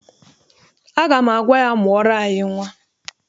Aga m agwa ya, mụọrọ anyị nnwa.